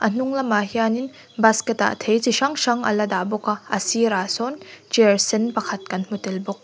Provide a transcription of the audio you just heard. hnung lamah hianin basket ah thei chi hrang hrang ala dah bawk a a sir ah sawn chair sen kan hmu tel bawk.